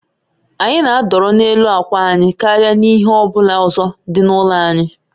Anyị na-adọrọ n'elu akwa anyị karịa n'ihe ọ bụla ọzọ dị n'ụlọ anyị